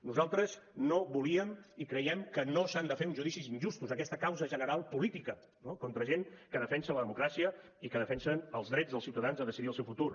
nosaltres no volíem i creiem que no s’han de fer uns judicis injustos aquesta causa general política no contra gent que defensa la democràcia i que defensa els drets dels ciutadans a decidir el seu futur